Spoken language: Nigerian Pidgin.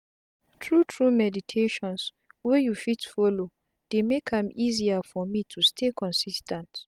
tru tru meditations wey you fit folo dey make am easier for me to stay consis ten t.